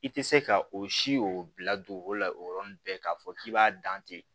I tɛ se ka o si o bila don o la o yɔrɔnin bɛɛ k'a fɔ k'i b'a dan ten